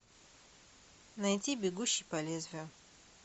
найти бегущий по лезвию